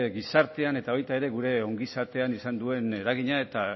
gizartean eta baita ere gure ongizatean izan duen eragina eta